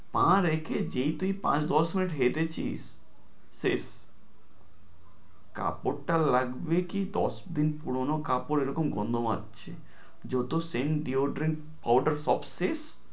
পা রেখে যেই তুই পাঁচ দশ minute হেঁটেছিস, শেষ। কাপড়টা লাগবে কি দশ দিন পুরনো কাপড় এরকম গন্ধ মাজছে, যত scent, deodorant, powder সব শেষ